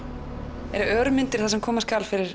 eru örmyndir það sem koma skal fyrir